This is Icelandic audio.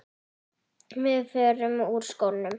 Við förum úr skónum.